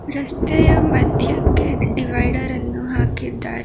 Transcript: ರಸ್ತೆಯ ಮದ್ಯಕ್ಕೆ ಡಿವೈಡರ್ ಅನ್ನು ಹಾಕಿದ್ದಾರೆ